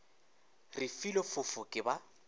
re filwe fofo ke ba